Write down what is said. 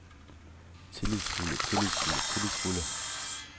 tillidsfulde tillidsfulde tillidsfulde